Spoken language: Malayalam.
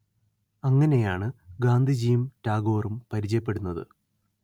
അങ്ങനെയാണ് ഗാന്ധിജിയും ടാഗോറും പരിചയപ്പെടുന്നത്